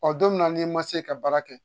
Ɔ don min na n'i ma se ka baara kɛ